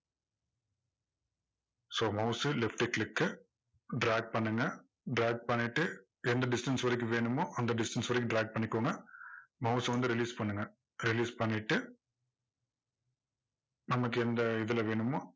so mouse சு left click க்கு drag பண்ணுங்க drag பண்ணிட்டு எந்த distance வரைக்கும் வேணுமோ அந்த distance வரைக்கும் drag பண்ணிக்கோங்க mouse அ வந்து release பண்ணுங்க release பண்ணிட்டு நமக்கு எந்த இதுல வேணுமோ